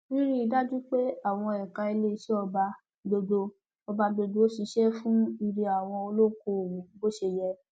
rírí i dájú pé àwọn ẹka iléeṣẹ ọba gbogbo ọba gbogbo ṣiṣẹ fún ire àwọn olókoòwò bó ṣe yẹ